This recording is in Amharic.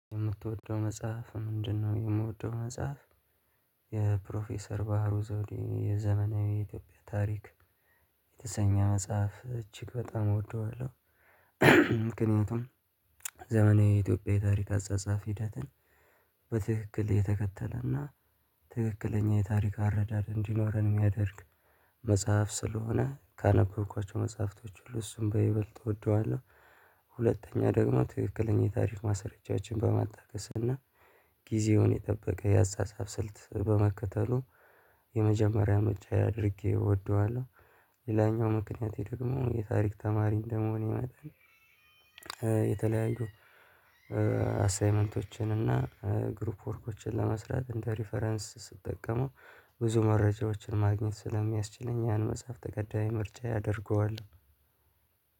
የምትወደው መጽሐፍ ምንድነው? የምወደው መጽሐፍ የፕሮፌሰር ባህሩ ዘውዴ የዘመናዊ የኢትዮጵያ ታሪክ የተሰኘ መጽሐፍ እጅግ በጣም እወደዋለሁ። ምክንያቱም ዘመናዊ ኢትዮጵያዊ ታሪክ አጻጻፍ ሂደትን በትክክል የተከተለና ትክክለኛ የታሪክ አረዳድ እንዲኖረን የሚያደርግ መጽሐፍ ስለሆነ ካነበብኳቸው መጽሐፍቶች ሁሉ እሱን በይበልጥ እወደዋለሁ። ሁለተኛ ደግሞ ትክክለኛ የታሪክ ማሰሪጃዎችን በማጣቀስ እና ጊዜውን የጠበቀ የአጻጻፍ ስልት በመከተሉ የመጀመሪያ ምርጫየ አድርጌ እወደዋለሁ። ሌላኛው ምክንያት ደግሞ የታሪክ ተማሪ እንደመሆን መጠን። የተለያዩ አሳይመንቶችን እና ግሩፕ ወርኮችን ለመስራት እንደ ሪፈረንስ ስትጠቀሙ ብዙ መረጃዎችን ማግኘት ስለሚያስችለኝ ያን መጽሐፍ ተቀዳም ምርጫ ያደርገዋል።